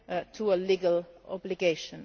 to a legal obligation.